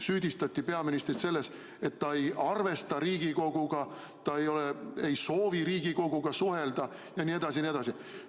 Süüdistati peaministrit selles, et ta ei arvesta Riigikoguga, ta ei soovi Riigikoguga suhelda jne, jne.